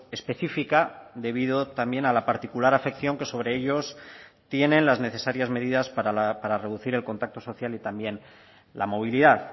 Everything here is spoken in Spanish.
específica debido también a la particular afección que sobre ellos tienen las necesarias medidas para reducir el contacto social y también la movilidad